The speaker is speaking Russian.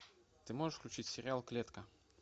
ты можешь включить сериал клетка